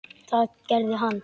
Það gerði hann.